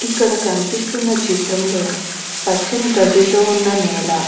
ఇక్కడ కనిపిస్తున్న చిత్రంలో పచ్చని గడ్డితో ఉన్న నేల --